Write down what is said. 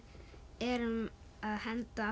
erum að henda